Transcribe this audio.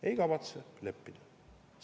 Ei kavatse leppida!